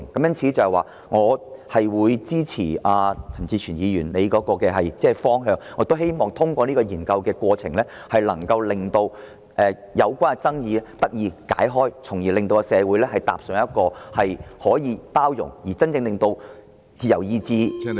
因此，我支持陳志全議員建議的方向，並希望能透過進行研究的過程化解爭議，從而令社會真正做到包容不同選擇和個人自由意志......